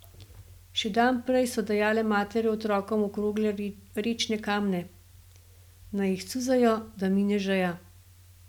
Še dan prej so dajale matere otrokom okrogle rečne kamne, naj jih cuzajo, da mine žeja.